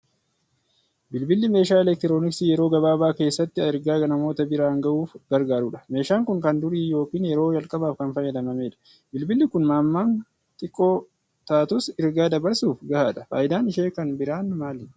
Bilbilli meeshaa elektirooniksii yeroo gabaabaa keessatti ergaa namoota biraan gahuuf gargaarudha. Meeshaan kun kan durii yookiin yeroo jalqabaaf kan fayyadamamedha. Bibilli kun hammaan xinnoo taatus ergaa dabarsuuf gahaadha. Faayidaan ishee kan biraa maali?